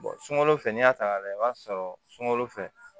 sunkalo fɛ n'i y'a ta ka lajɛ i b'a sɔrɔ sunkalo fɛ